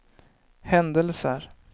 händelser